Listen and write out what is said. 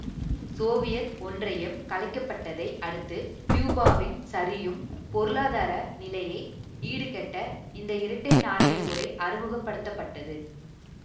Soviet ஒன்றியம் கலைக்கப்பட்டதை அடுத்து கியூபாவின் சரியும் பொருளாதார நிலையை ஈடுகட்ட இந்த இரட்டை நாணய முறை அறிமுக படுத்த பட்டது